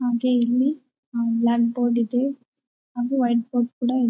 ಹಾಗೆ ಇಲ್ಲಿ hmm blackboard ಇದೆ ಹಾಗು ವೈಟ್ ಬೋರ್ಡ್ ಕೂಡ ಇ--